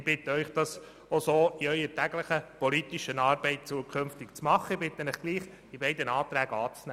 Ich bitte Sie, das auch in Ihrer täglichen politischen Arbeit so zu handhaben und diese beiden Anträge anzunehmen.